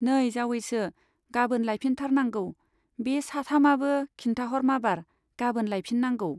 नै जावैसो, गाबोन लायफिनथारनांगौ, बे साथामाबो खिन्थाहर माबार, गाबोन लायफिननांगौ।